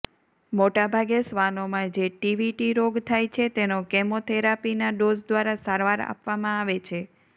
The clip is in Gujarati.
મોટાભાગે શ્વાનોમાં જે ટીવીટી રોગ થાય છે તેનો કેમોથેરાપીના ડોઝ દ્વારા સારવાર આપવામાં આવે છે